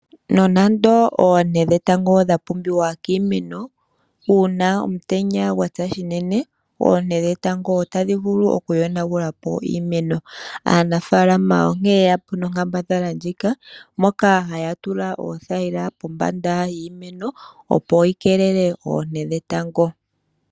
Nonando oonte dhetango odha pumbiwa kiimeno, uuna omutenya gwa tsa unene oonte dhetango otadhi vulu oku yonagula po iimeno. Aanafaalama onkene ye ya po nonkambadhala ndjika moka haya tula oothayila kombanda yiimeno opo yi keelela oonte dhetango.